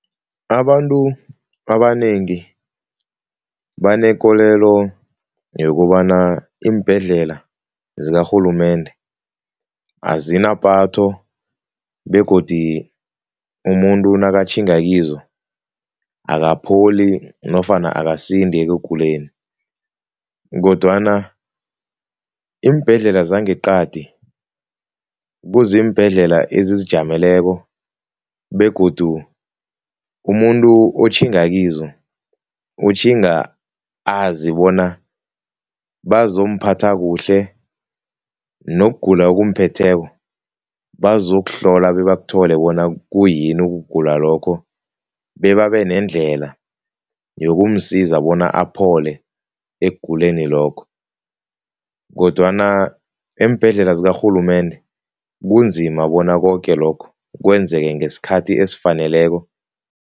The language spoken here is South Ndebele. Abantu abanengi banekolelo yokobana iimbhedlela zikarhulumende azinapatho begodu umuntu nakatjhinga kizo akapholi nofana akasindi ekuguleni kodwana iimbhedlela zangeqadi kuziimbhedlela ezizijameleko begodu umuntu otjhinge kizo utjhinga azi bona bazomphatha kuhle, nokugula okumphetheko bazokuhlola bebakuthole bona kuyini ukugula lokho bebabe nendlela yoke kumsiza bona aphole ekuguleni lokho kodwana iimbhedlela zakarhulumende kunzima bona koke lokho kwenzeke ngesikhathi esifaneleko.